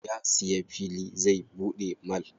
Ya siya fili zai buɗe mall.